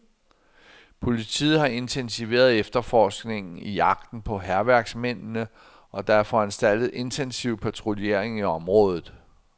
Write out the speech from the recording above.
Politiet har intensiveret efterforskningen i jagten på hærværksmændene, og der er foranstaltet intensiv patruljering i området.